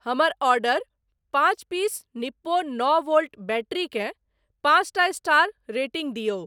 हमर ऑर्डर पाँच piece Nippo नओ वोल्ट बैटरी केँ पाँचटा स्टार रेटिंग दियौ।